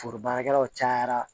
Foro baarakɛlaw cayara